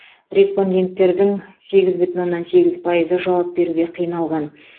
респонденттердің сегіз бүтін оннан сегіз пайызы жауап беруге қиналды